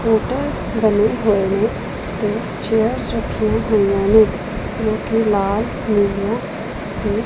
hotel ਬਣੇ ਹੋਏ ਨੇ ਚੇਅਰਸ ਰੱਖੀਆਂ ਹੋਈਆਂ ਨੇ ਜੋ ਕਿ ਲਾਲ ਨੀਲੀਆਂ ਤੇ --